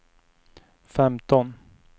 femton